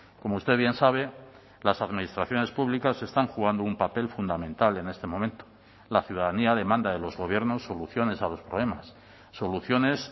como usted bien sabe las administraciones públicas están jugando un papel fundamental en este momento la ciudadanía demanda de los gobiernos soluciones a los problemas soluciones